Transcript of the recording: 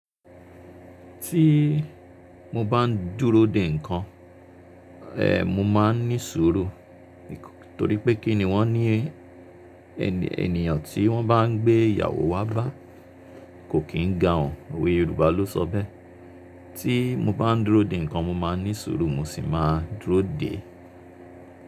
Tí mo bá ń dúró dè nǹkan, ẹ, mo máa ń ní suru, torí pé kí ni wọ́n ni ènìyàn tí wọ́n bá ń gbé ìyàwó wá bá kò kín gan òun, Òwe Yorùbá ló sọ bẹ́ẹ́. Tí mo bá ń dúró dè nǹkan, mo máa ń ní suru, mo sì máa dúró dè é.